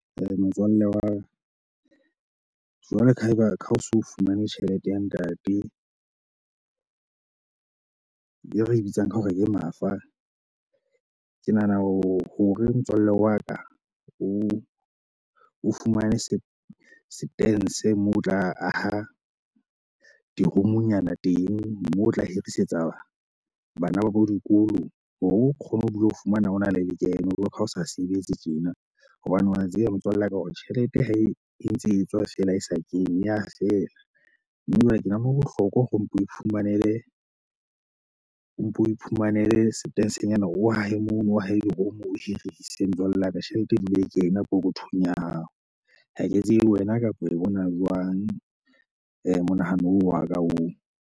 Eh motswalle wa ka. Jwalo ka ha eba ka ha o so fumane tjhelete ya ntate, e re e bitsang ka hore ke mafa. Ke nahana hore motswalle wa ka o o fumane se se teng se moo o tla aha di-room-nyana teng moo o tla hirisetsa batho bana ba bo dikolo hore o kgone ho bile ho fumana o na le lekeno. Jwaloka ha o sa sebetse tjena hobane wa tseba motswalle wa ka hore tjhelete ha e entse e tswa fela e sa kene e a feela. Mme ebile ke nahana ho bohlokwa hore o mpe o iphumanele o mpe o iphumanele setensenyana o ahe mono, o ahe di-room, o hirise, motswalle wa ka. Tjhelete e dule e kena pokothong ya hao. Ha ke tsebe wena kapa e bona jwang eh monahano oo wa ka oo.